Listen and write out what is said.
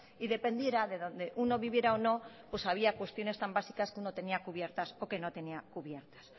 y dependiera de dónde uno viviera o no o sabía cuestiones tan básicas que uno tenía cubiertas o que no tenía cubiertas